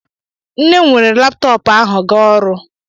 Nne m weere laptoopu ahu ga ọrụ.